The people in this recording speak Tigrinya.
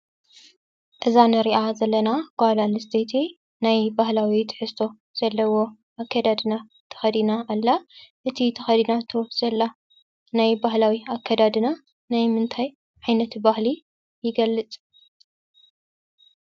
እዛ ንሪአ ዘለና ጓል አንስተይቲ ናይ ባህላዊ ትሕዝቶ ዘለዎ አከዳድና ተኸዲና ኣላ:: እቲ ተኸዲናቶ ዘላ ናይ ባህላዊ አከዳድና ናይ ምንታይ ዓይነት ባህሊ ይገልፅ?